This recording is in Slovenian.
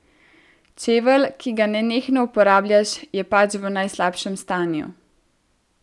Čevelj, ki ga nenehno uporabljaš, je pač v najslabšem stanju.